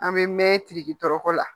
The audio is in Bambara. An bɛ mɛn tiriki dɔrɔkɔ la